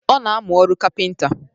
Ọ na-amụ ọrụ kapịnta